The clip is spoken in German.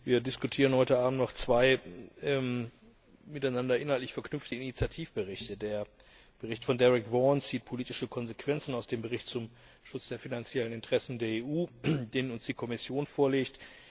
Wir diskutieren heute Abend noch zwei miteinander inhaltlich verknüpfte Initiativberichte Der Bericht von Derek Vaughan zieht politische Konsequenzen aus dem Bericht über den Schutz der finanziellen Interessen der EU, den uns die Kommission vorlegt.